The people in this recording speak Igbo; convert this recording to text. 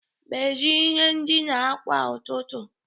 Meziee ihe ndina kwa ụtụtụ.